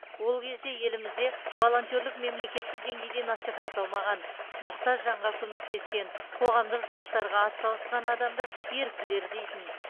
ол кезде елімізде волонтерлік мемлекеттік деңгейде насихатталмаған мұқтаж жанға көмектескен қоғамдық жұмыстарға атсалысқан адамды еріктілер дейтін